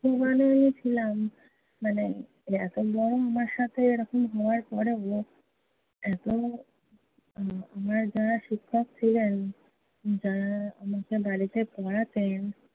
ছিলাম, মানে এতবার আমার সাথে এরকম হওয়ার পরেও এত উম আমার যারা শিক্ষক ছিলেন, যারা আমাকে বাড়িতে পড়াতেন